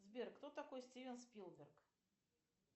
сбер кто такой стивен спилберг